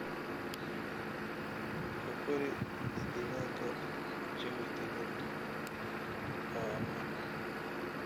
Ku kori digaagga jawi deggan oo ammaan ah.